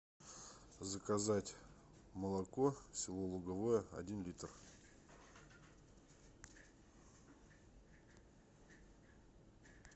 заказать молоко село луговое один литр